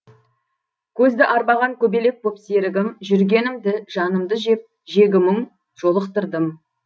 көзді арбаған көбелек боп серігім жүргенімді жанымды жеп жегі мұң жолықтырдым